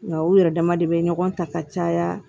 Nka u yɛrɛ dama de bɛ ɲɔgɔn ta ka caya